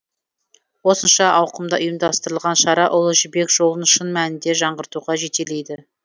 осынша ауқымда ұйымдастырылған шара ұлы жібек жолын шын мәнінде жаңғыртуға жетелейді